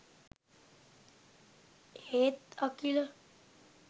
ඒත් අකිල